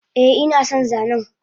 Eh inason zanen